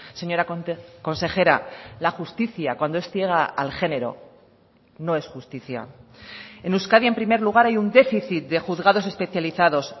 señora consejera la justicia cuando es ciega al género no es justicia en euskadi en primer lugar hay un déficit de juzgados especializados